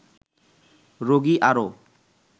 রোগী আরও